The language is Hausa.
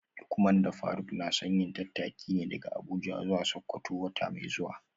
Lukman da Faruk na son yin tattaki ne daga Abuja zuwa Sakkwato wata mai zuwa